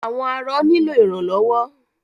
Àwọn arọ nílò ìrànlọ́wọ́.